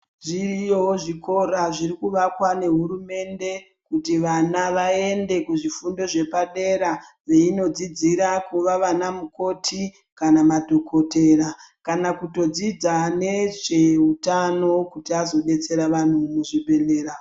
Zviriyo zvikora zvirikuvakwa nehurumende kuti vana vaende kuzvifundo zvepadera veinodzidzira kuva vanamukoti kana madhokotera. Kana kutodzidza nezveutano kuti azobetsera vantu muzvibhehlera.